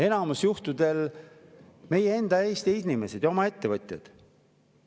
Enamikul juhtudel meie enda Eesti inimesed ja oma ettevõtjad.